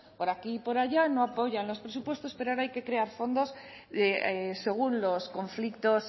por aquí y por allá no apoyan los presupuestos pero ahora hay que crear fondos según los conflictos